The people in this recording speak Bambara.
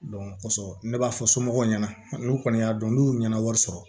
kɔsɔbɛ ne b'a fɔ somɔgɔw ɲɛna n'u kɔni y'a dɔn n'u nana wari sɔrɔ